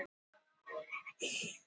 Veröldin var í höndum augnablikanna.